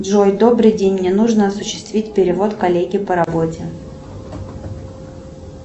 джой добрый день мне нужно осуществить перевод коллеге по работе